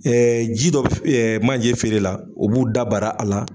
ji dɔ b manje feere la, o b'u da bar'a a la